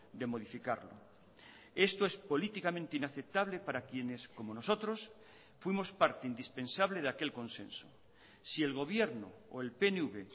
de modificarlo esto es políticamente inaceptable para quienes como nosotros fuimos parte indispensable de aquel consenso si el gobierno o el pnv